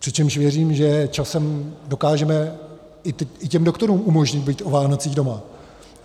Přičemž věřím, že časem dokážeme i těm doktorům umožnit být o Vánocích doma.